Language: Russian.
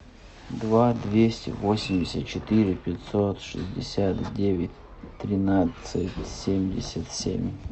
два двести восемьдесят четыре пятьсот шестьдесят девять тринадцать семьдесят семь